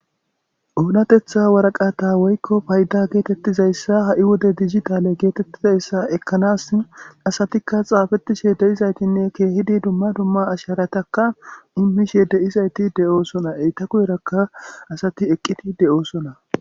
Onatetha waraqata woyko payda gettetizaysa woykon dijitale getetizaysa ekanas asatika xapetishe de'izasinne dumma dumma asharataka imishe dizayti de'osona enta guyeraka asatieqidi de'osona.